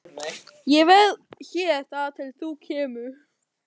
Ég verð hér þar til þú kemur.